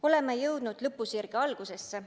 Oleme jõudnud lõpusirge algusesse.